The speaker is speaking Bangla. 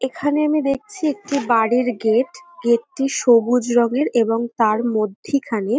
এখানে আমি দেখছি একটি বাড়ির গেট । গেট টি সবুজ রঙের এবং তার মধ্যিখানে--